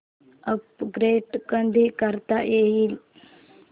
upgrade कधी करता येईल